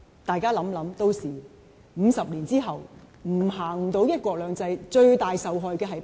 大家想一想 ，50 年後，如果不能實行"一國兩制"，最大的受害者是誰？